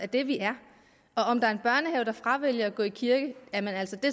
det vi er og om der er en børnehave der fravælger at gå i kirke